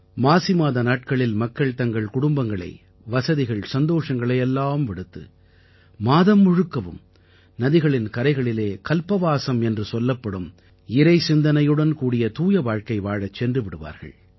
மாசிமாத நாட்களில் மக்கள் தங்கள் குடும்பங்களை வசதிகள்சந்தோஷங்களை எல்லாம் விடுத்து மாதம் முழுக்கவும் நதிகளின் கரைகளிலே கல்பவாசம் என்று சொல்லப்படும் இறைசிந்தனையுடன் கூடிய தூய வாழ்க்கை வாழச் சென்று விடுவார்கள்